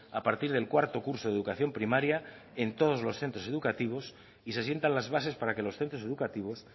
a partir del cuarto curso de educación primaria en todos los centros educativos y se sientan las bases para que los centros educativos